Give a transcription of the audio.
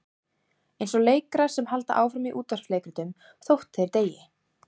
Eins og leikarar sem halda áfram í útvarpsleikritum þótt þeir deyi.